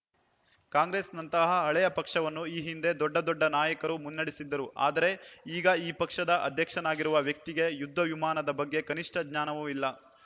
ಕಾಂಗ್ರೆಸ್‌ನಂತಹ ಹಳೆಯ ಪಕ್ಷವನ್ನು ಈ ಹಿಂದೆ ದೊಡ್ಡ ದೊಡ್ಡ ನಾಯಕರು ಮುನ್ನಡೆಸಿದ್ದರು ಆದರೆ ಈಗ ಆ ಪಕ್ಷದ ಅಧ್ಯಕ್ಷನಾಗಿರುವ ವ್ಯಕ್ತಿಗೆ ಯುದ್ಧ ವಿಮಾನದ ಬಗ್ಗೆ ಕನಿಷ್ಠ ಜ್ಞಾನವೂ ಇಲ್ಲ